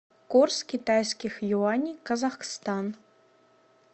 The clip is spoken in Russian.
курс китайских юаней казахстан